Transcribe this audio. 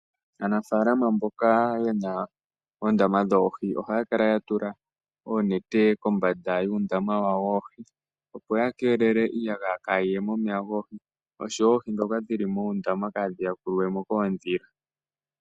Aanafalama mboka yena oondama dhoohi ohaya kala yedhi tula oonete kombanda yuundama wowa woohi opo ya kelele iiyagaya kayiye momeya goohi, noohindhoka dhili muundama kadhi yakulwemo koondhila.